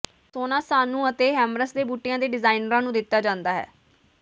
ਸੋਨਾ ਸਾਨੂੰ ਅਤੇ ਹੈਮਰਸ ਦੇ ਬੂਟਿਆਂ ਦੇ ਡਿਜ਼ਾਈਨਰਾਂ ਨੂੰ ਦਿੱਤਾ ਜਾਂਦਾ ਹੈ